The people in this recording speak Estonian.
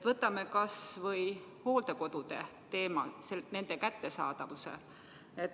Võtame kas või hooldekodude kättesaadavuse teema.